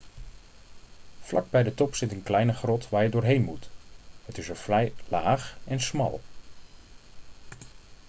vlak bij de top zit een kleine grot waar je doorheen moet het is er vrij laag en smal